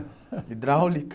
Hidráulica?